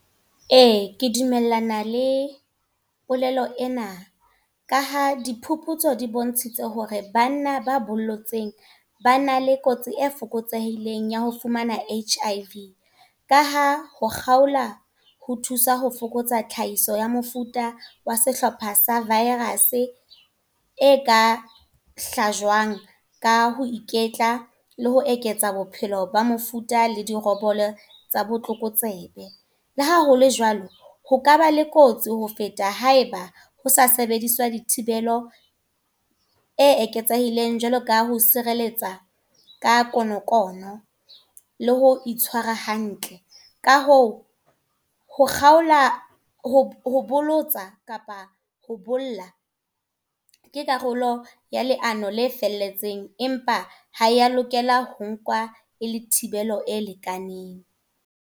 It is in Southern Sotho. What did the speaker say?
Ee, ke dumellana le polelo ena. Ka ha diphuputso di bontshitse hore banna ba bollotseng ba na le kotsi e fokotsehileng ya ho fumana H_I_V. Ka ha ho kgaola, ho thusa ho fokotsa tlhahiso ya ho mofuta wa sehlopha sa virus. E ka hlajwang ka ho iketla, le ho eketsa bophelo ba mofuta le dirobolo tsa botlokotsebe. Le haholo jwalo, ho ka ba le kotsi ho feta haeba ho sa sebediswa dithibelo. E eketsehileng, jwalo ka ho sireletsa ka konokono le ho itshwara hantle. Ka hoo ho kgaola, ho bolotsa kapa ho bolella. Ke karolo ya leano le felletseng empa ha ya lokela ho nkwa e le thibelo e lekaneng.